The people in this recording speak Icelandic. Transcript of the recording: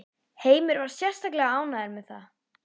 Heimir var sérstaklega ánægður með það?